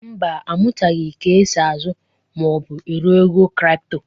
Mba, amụtaghị ka e si ázụ́ ma ọ bụ ero ego kripto.